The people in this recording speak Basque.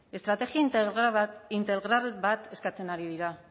estrategia integral bat eskatzen ari dira